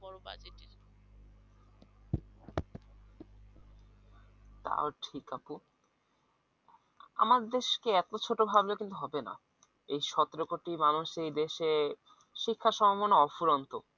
তা ঠিক আপু আমাদের দেশকে কিন্তু এত ছোট ভাবলে কিন্তু হবে না এই সতেরো কোটি মানুষ এই দেশে শিক্ষার সম্ভাবনা অফুরন্ত